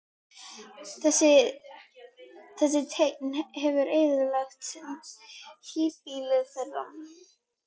Þessi teinn hefur eyðilagt híbýlin þeirra.